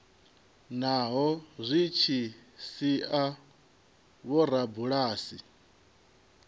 naho zwi tshi sia vhorabulasi